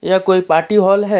ये कोई party hall है।